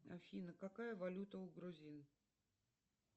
афина какая валюта у грузин